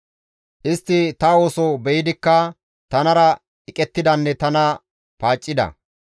Istti ta ooso be7idikka tanara eqettidanne tana paaccida.